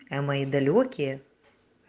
а мои далёкие